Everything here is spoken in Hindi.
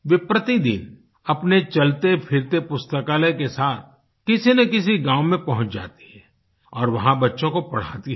वे प्रतिदिन अपने चलतेफिरते पुस्तकालय के साथ किसी न किसी गाँव में पहुँच जाती हैं और वहाँ बच्चों को पढ़ाती हैं